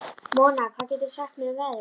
Mona, hvað geturðu sagt mér um veðrið?